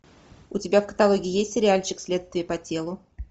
у тебя в каталоге есть сериальчик следствие по телу